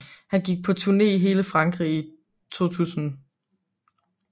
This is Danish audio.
Han gik på turné i hele Frankrig i 2000